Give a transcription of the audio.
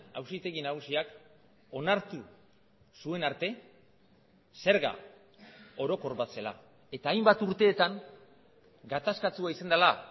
auzitegi nagusiak onartu zuen arte zerga orokor bat zela eta hainbat urteetan gatazkatsua izan dela